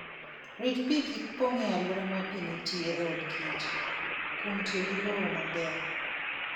Rit pi kik pong' e alwora ma pi nitie e od kich , kuom tiyo gi lowo maber.